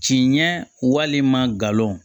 Ci ɲɛ walima galon